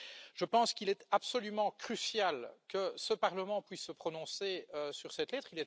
Je pense qu'il est absolument crucial que ce Parlement puisse se prononcer sur cette lettre.